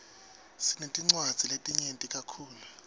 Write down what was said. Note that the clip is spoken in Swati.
sinetinwadzi letinyeti kakhulu